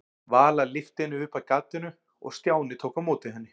Vala lyfti henni upp að gatinu og Stjáni tók á móti henni.